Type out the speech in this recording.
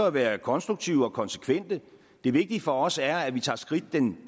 at være konstruktive og konsekvente det vigtige for os er at vi tager skridt den